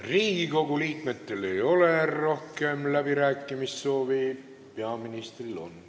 Riigikogu liikmetel ei ole rohkem läbirääkimissoovi, peaministril on.